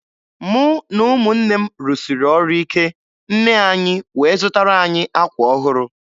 Mụ na ụmụnne m rụsiri ọrụ ike, nne anyị wee zụtara anyị akwa ọhụrụ.